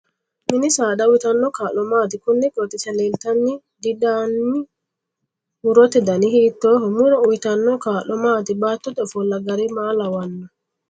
Mini saada uyiitano kaa'lo maati konni qooxeesira leeltanno dd addi murote dani hiitooho muro uyiitano kaa'lo maati baatote ofolla gari maa lawanno